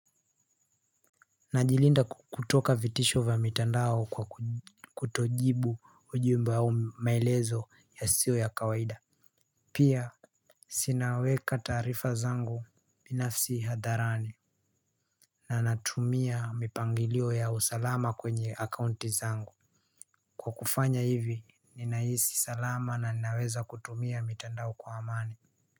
Najilinda kutoka vitisho vya mitandao kwa kutojibu ujumbe au maelezo yasiyo ya kawaida. Pia sinaweka tarifa zangu binafsi hadharani. Na natumia mipangilio ya usalama kwenye akaunti zangu. Kwa kufanya hivi ninaisi salama na naweza kutumia mitandao kwa amani.